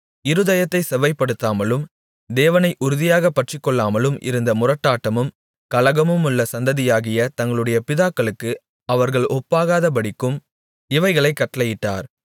இருதயத்தைச் செவ்வைப்படுத்தாமலும் தேவனை உறுதியாகப் பற்றிக்கொள்ளாமலும் இருந்த முரட்டாட்டமும் கலகமுமுள்ள சந்ததியாகிய தங்களுடைய பிதாக்களுக்கு அவர்கள் ஒப்பாகாதபடிக்கும் இவைகளைக் கட்டளையிட்டார்